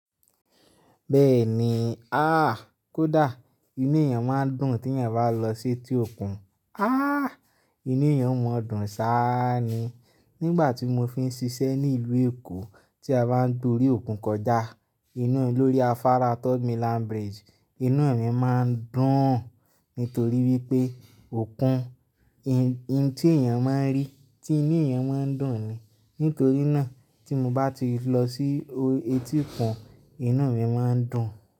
Bẹ́ẹ̀ni, ah! Kódà inú èèyàn máa ń dùn tí èèyàn bá lọ sí etí òkun. Ah! Inú èèyàn ò mọ̀ dùn sá ni. Nígbà tí mo fi ń ṣiṣẹ́ ní ìlú Èkó, tí a bá ń dúró ní òkun kọjá, inú mi lórí Afara Third Milan Bridge, inú mi má ń dùn, nítorí wípé òkun, ohun tí èèyàn máa ń rí, tí inú èèyàn má ń dùn ni. Nítorí náà tí mo bá ti lọ sí etíkun, inú mi má ń dùn.